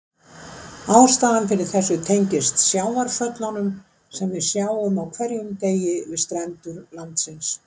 Ástæðan fyrir þessu tengist sjávarföllunum sem við sjáum á hverjum degi við strendur landsins.